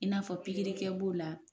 I n'a fɔ pikirikɛ b'o la.